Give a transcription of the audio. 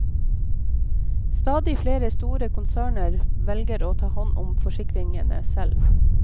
Stadig flere store konserner velger å ta hånd om forsikringene selv.